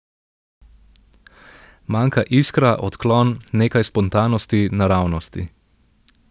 Manjka iskra, odklon, nekaj spontanosti, naravnosti.